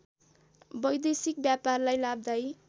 वैदेशिक व्यापारलाई लाभदायी